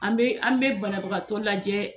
An be an be banabagatɔ lajɛɛ